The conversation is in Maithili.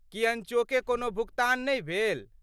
की अनचोके कोनो भुगतान नहि भेल?